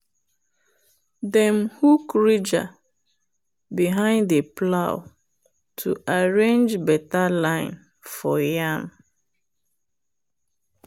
dem hook ridger behind the plow to arrange better line for yam.